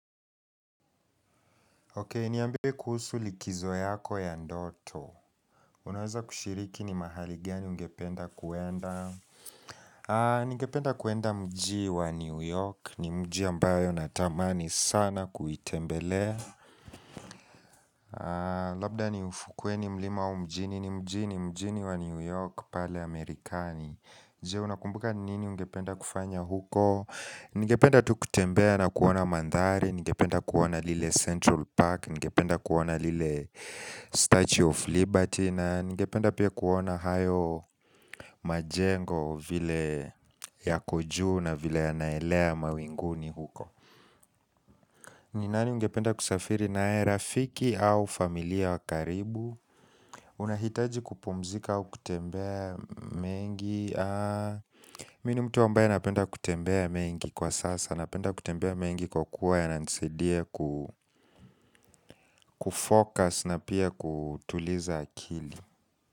Ok, niambiwe kuhusu likizo yako ya ndoto Unaweza kushiriki ni mahaligiani ungependa kuenda Nigependa kuenda mji wa New York ni mji ambayo natamani sana kuitembele Labda ni ufukweni mlima wa mjini ni mjini mjini wa New York pale Amerikani Je, unakumbuka nini ungependa kufanya huko Nigependa tu kutembea na kuona mandhari Nigependa kuona lile Central Park Ngependa kuona lile statue of liberty na ngependa pia kuona hayo majengo vile ya koju na vile ya naelea mawinguni huko Ninani ngependa kusafiri nae rafiki au familia wakaribu unahitaji kupumzika au kutembea mengi Mini mtu wambaye napenda kutembea mengi kwa sasa Napenda kutembea mengi kwa kuwa ya nansidie kufocus na pia kutuliza akili.